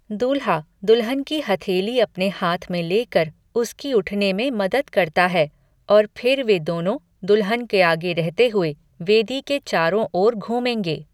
दूल्हा दुल्हन की हथेली अपने हाथ में लेकर उसकी उठने में मदद करता है और फिर वे दोनों, दुल्हन के आगे रहते हुए, वेदी के चारों ओर घूमेंगे।